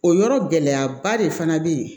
O yɔrɔ gɛlɛyaba de fana be yen